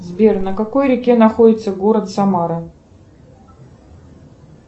сбер на какой реке находится город самара